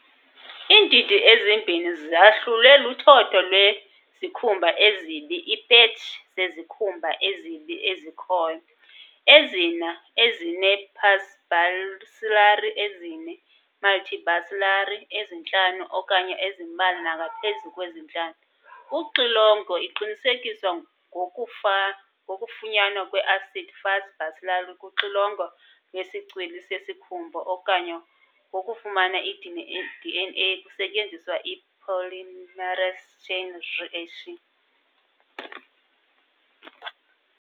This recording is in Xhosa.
Iindidi ezimbini zahlulwe luthotho lwezikhumba ezibi, iipetshi zezikhumba ezibi ezikhoyo, ezine-paucibacillary ezine-multibacillary ezintlanu okanye ezimbalwa nangaphezu kwezintlanu. Uxilongo lqinisekiswa ngokufunyanwa kwe-acid-fast bacilli kuxilongo lwesicwili sesikhumba okanye ngokufumana i-DNA kusetyenziswa i-polymerase chain reaction.